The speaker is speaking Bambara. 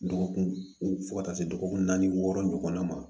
Dɔgɔkun fo ka taa se dɔgɔkun naani wɔɔrɔ ɲɔgɔnna ma